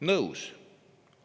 Nõus!